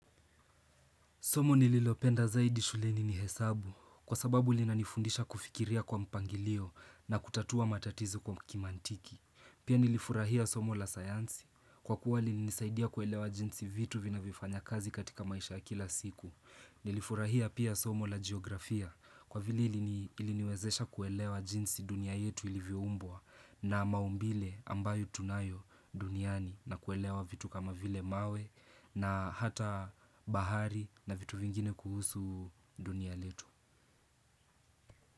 Somo nililopenda zaidi shuleni ni hesabu kwa sababu lina nifundisha kufikiria kwa mpangilio na kutatua matatizo kwa kimantiki. Pia nilifurahia somo la sayansi kwa kuwa lininisaidia kuelewa jinsi vitu vinayo fanya kazi katika maisha ya kila siku. Nilifurahia pia somo la geografia kwa vili iliniwezesha kuelewa jinsi dunia yetu ilivyoumbwa na maumbile ambayo tunayo duniani. Na kuelewa vitu kama vile mawe na hata bahari na vitu vingine kuhusu dunia letu.